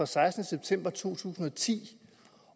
sekstende september to tusind og ti